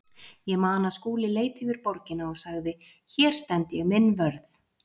Ég man að Skúli leit yfir borgina og sagði: Hér stend ég minn vörð.